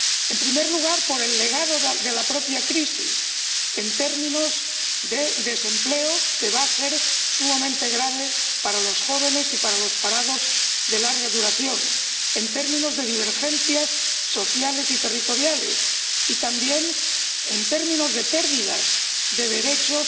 En primer lugar, por el legado de la propia crisis en términos de desempleo —va a ser sumamente grave para los jóvenes y para los parados de larga duración—, en términos de divergencias sociales y territoriales y, también, en términos de pérdida de derechos